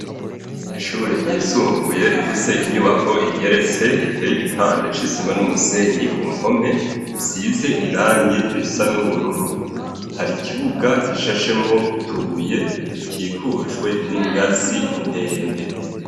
Ishure ryisumbuye rifise inyubako igeretse riteye igipande c'isima n'umusenyi ku mpome, isize irangi risa n'ubururu. Hari ikibuga gishashemwo utubuye gikikujwe n'ingazi ndende.